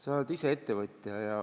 Sa oled ise ettevõtja.